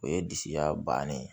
O ye disi ya bannen ye